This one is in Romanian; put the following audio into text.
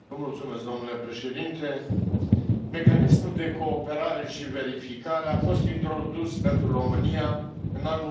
Domnule președinte, Mecanismul de Cooperare și Verificare a fost introdus pentru România în anul